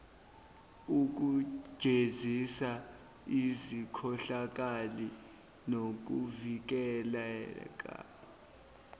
ukujezisa izikhohlakali nokuvikela